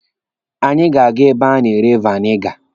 Anyị ga-aga ebe a na-ere veniga.